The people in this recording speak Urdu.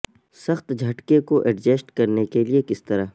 سخت جھٹکے کو ایڈجسٹ کرنے کے لئے کس طرح